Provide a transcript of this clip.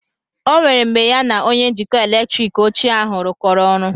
O nwere mgbe ya na onye njikọ eletrik ochie ahụ rụkọrọ ọrụ